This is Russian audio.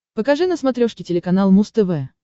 покажи на смотрешке телеканал муз тв